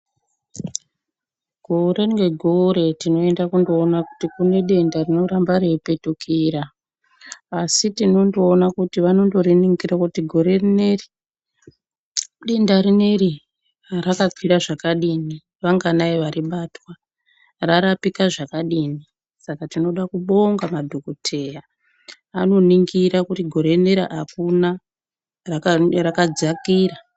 Gore ngegore tinoyenda kunoona kuti kunedenda rinoramba reipetukira asi tinondoona kuti vanondoriningira kuti gore rineri denda rineri rakakwira zvakadini vanganai varibatwa, rarapika zvakadini saka tinoda kubonga maningi madhokodheya anoningirw kuti gore rineri akuna rakadzakira.